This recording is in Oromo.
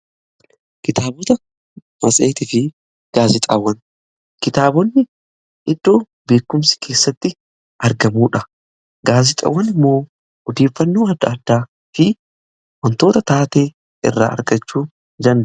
Kitaabota matsehitii fi gaazexaawwan kitaabonni iddoo beekumsi keessatti argamuudha. Gaazexaawwan immoo odeeffannoo adda addaa fi wantoota taatee irraa argachuu dandenyudha.